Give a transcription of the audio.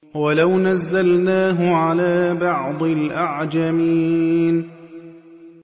وَلَوْ نَزَّلْنَاهُ عَلَىٰ بَعْضِ الْأَعْجَمِينَ